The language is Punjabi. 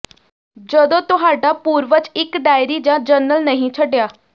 ਜਦੋਂ ਤੁਹਾਡਾ ਪੂਰਵਜ ਇੱਕ ਡਾਇਰੀ ਜਾਂ ਜਰਨਲ ਨਹੀਂ ਛੱਡਿਆ